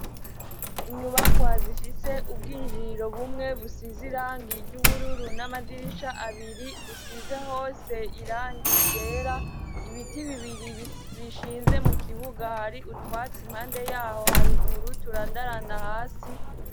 Inyubakwa zifise ubwinjiriro bumwe busize irangi ry'ubururu n'amadirisha abiri busize hose irangi ryera, ibiti bibiri bishinze mukibuga hari utwatsi impande yaho haruguru turandaranda hasi.